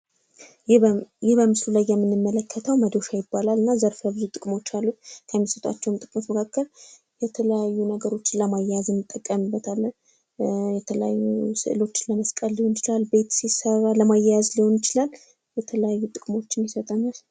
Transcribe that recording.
ይህ በምስሉ ላይ የምንመለከተው መዶሻ ይባላል። እና ዘርፈብዙ ጥቅሞች አሉት። ከሚሰጣቸው ጥቅሞች መካከል የተለያዩ ነገሮችን ለማያያዝ የምንጠቀምበት የተለያዩ ስዕሎችን ለመስቀል ሊሆን ይችላል ፤ቤት ሲሰራ ለማያያዝ ሊሆን ይችላል የተለያዩ ጥቅሞችን ይሰጠናል።